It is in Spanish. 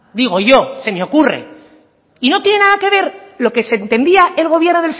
digo yo se me ocurre y no tiene nada que ver lo que se entendía el gobierno